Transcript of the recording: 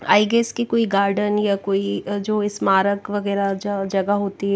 आई guess कि कोई garden न या कोई जो स्मारक वगैरह जो जगह होती है।